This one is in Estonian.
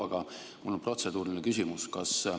Aga mul on protseduuriline küsimus.